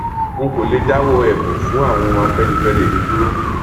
n kò lè dáwọ ẹbùn fún àwọn afẹnifẹre mi dúró